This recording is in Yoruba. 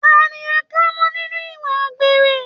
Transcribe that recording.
Ta ni a kà mọ nínú ìwà àgbèrè?